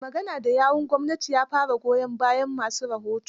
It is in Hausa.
Mai magana da yawun gwamnatin ya fara goyon bayan ma su rahoto.